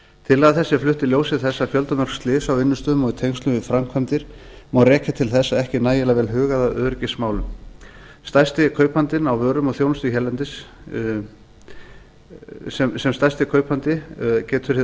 tillaga þessi er flutt í ljósi þess að fjöldamörg slys á vinnustöðum og í tengslum við framkvæmdir má rekja til þess að ekki er nægilega vel hugað að öryggismálum sem stærsti kaupandinn á vörum og þjónustu hérlendis getur hið